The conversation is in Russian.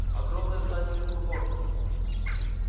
огромное здание космопорта